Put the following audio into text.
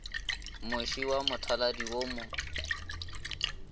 moše wa mothaladi wo mo